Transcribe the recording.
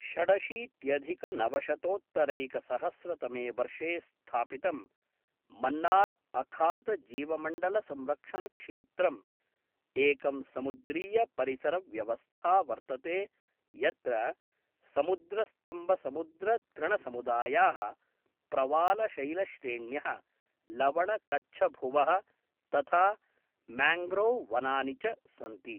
षडशीत्यधिकनवशशतोत्तरैकसहस्रतमे वर्षे स्थापितं मन्नार् अखातजीवमण्डलसंरक्षणक्षेत्रम् एकं समुद्रीयपरिसरव्यवस्था वर्तते, यत्र समुद्रस्तंबसमुद्रतृणसमुदायाः, प्रवालशैलश्रेण्यः, लवणकच्छभुवः, तथा म्याङ्ग्रोव् वनानि च सन्ति।